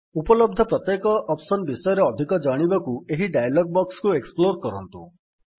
ଉପଲବ୍ଧ ପ୍ରତ୍ୟେକ ଅପ୍ସନ୍ ବିଷୟରେ ଅଧିକ ଜାଣିବାକୁ ଏହି ଡାୟଲଗ୍ ବକ୍ସ୍ କୁ ଏକ୍ସପ୍ଲୋର୍ କରନ୍ତୁ